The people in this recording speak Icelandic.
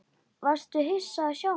Varstu hissa að sjá mig?